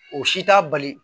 O si t'a bali